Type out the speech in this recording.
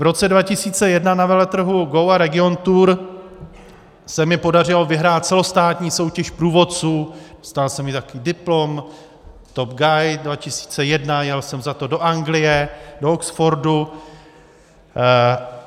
V roce 2001 na veletrhu GO a Regiontour se mi podařilo vyhrát celostátní soutěž průvodců, dostal jsem i takový diplom, TOP Guide 2001, jel jsem za to do Anglie, do Oxfordu.